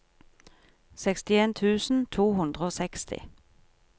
sekstien tusen to hundre og seksti